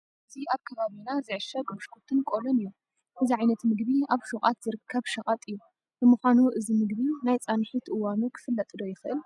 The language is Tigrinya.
እዚ ኣብ ከባቢና ዝዕሸግ ብሽኩትን ቆሎን እዩ፡፡ እዚ ዓይነት ምግቢ ኣብ ሹቋት ዝርከብ ሸቐጥ እዩ፡፡ ንምዃኑ እዚ ምግቢ ናይ ፃንሒት እዋኑ ክፍለጥ ዶ ይኽእል?